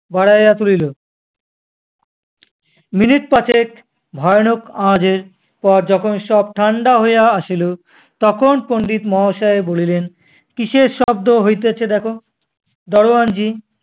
বাড়াইয়া তুলিল মিনিট পাঁচেক ভয়ানক আওয়াজের পর যখন সব ঠান্ডা হইয়া আসিল তখন পণ্ডিত মহাশয় বলিলেন কিসের শব্দ হইতেছে দেখো? দারোয়ান জি